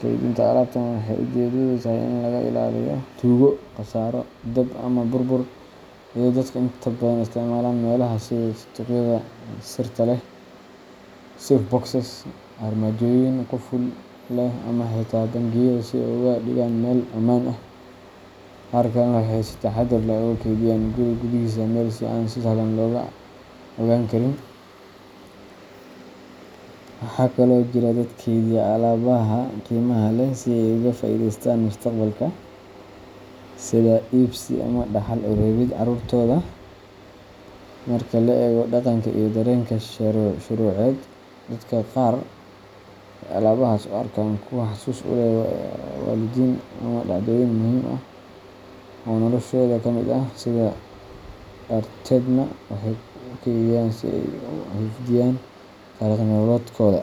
Kaydinta alaabtaan waxay ujeeddadeedu tahay in laga ilaaliyo tuugo, khasaaro, dab, ama burbur, iyadoo dadku inta badan isticmaalaan meelaha sida sanduuqyada sirta leh safe boxes, armaajooyin quful leh, ama xitaa bangiyada si ay uga dhigaan meel ammaan ah. Qaar kalena waxay si taxaddar leh ugu kaydiyaan guri gudihiisa meel aan si sahlan loo ogaan karin. Waxaa kaloo jira dad kaydiya alaabaha qiimaha leh si ay ugu faa’iideystaan mustaqbalka, sida iibsi ama dhaxal u reebid carruurtooda. Marka la eego dhaqanka iyo dareenka shucuureed, dadka qaar waxay alaabahaas u arkaan kuwo xasuus u leh waalidiin ama dhacdooyin muhiim ah oo noloshooda ka mid ah, sidaa darteedna waxay u kaydiyaan si ay u xafidaan taariikh nololeedkooda.